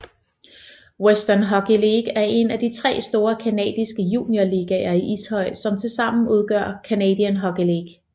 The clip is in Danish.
Western Hockey League er en af de tre store canadiske juniorligaer i ishockey som til sammen udgør Canadian Hockey League